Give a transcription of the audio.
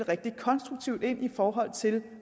rigtig konstruktivt ind i forhold til